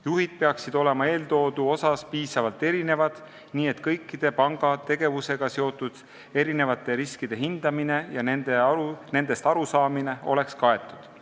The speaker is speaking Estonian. Juhid peaksid olema piisavalt erineva taustaga, et kõikide panga tegevusega seotud riskide hindamine ja nendest arusaamine oleks kaetud.